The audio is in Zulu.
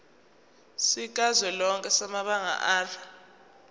sikazwelonke samabanga r